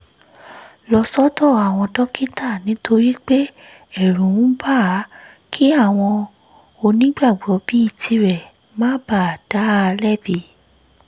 lọ sọ́dọ̀ àwọn dókítà nítorí pé ẹ̀rù ń bà á kí àwọn onígbàgbọ́ bíi tirẹ̀ má baà dá a lẹ́bi